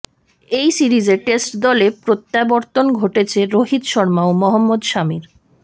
এই সিরিজে টেস্ট দলে প্রত্যাবর্তন ঘটেছে রোহিত শর্মা ও মহম্মদ সামির